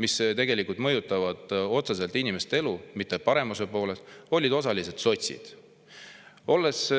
mis tegelikult mõjutavad otseselt inimeste elu, mitte paremuse poole – olid osalised sotsid.